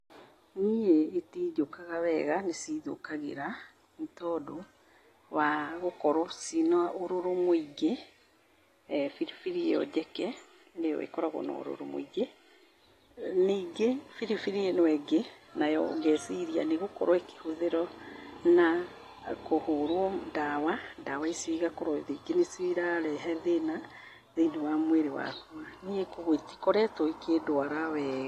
Niĩ gĩtinjũkaga wega, nĩ cithũkagĩra. Nĩ tondũ wa gũkorwo ciĩna ũrũrũ mũingĩ. Biribiri ĩyo njeke nĩ yo ĩkoragwo na ũrũrũ mũingĩ. Ningĩ biribiri ĩno ĩngĩ nayo ngeeciria nĩ gũkowo ĩkĩhũthĩrwo, na kũhũrwo ndawa. Ndawa ici igakorwo rĩngĩ nĩ cio irarehe thĩna thĩinĩ wa mwĩrĩ wakwa. Niĩ kwoguo itikoretwo ikĩndwara wega.